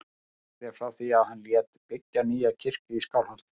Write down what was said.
Sagt er frá því að hann lét byggja nýja kirkju í Skálholti.